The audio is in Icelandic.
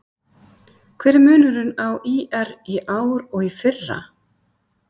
Hver er munurinn á ÍR í ár og í fyrra?